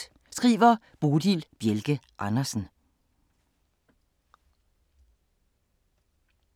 Bodil Bjelke Andersen